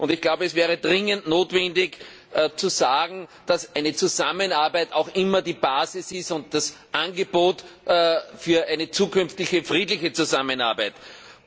Ich glaube, es wäre dringend notwendig zu sagen, dass eine Zusammenarbeit auch immer die Basis und das Angebot für eine zukünftige friedliche Zusammenarbeit ist.